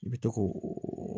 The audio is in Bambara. I bɛ to k'o oo